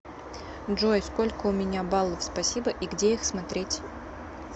джой сколько у меня баллов спасибо и где их смотреть